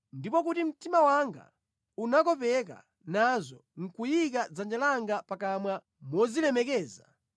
ndipo kuti mtima wanga unakopeka nazo nʼkuyika dzanja langa pakamwa mozilemekeza,